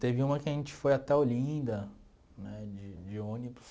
Teve uma que a gente foi até Olinda né de de ônibus.